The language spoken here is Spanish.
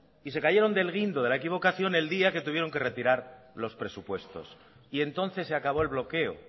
y se cayeron del guindo de la equivocación el día que tuvieron que retirar los presupuestos y entonces se acabó el bloqueo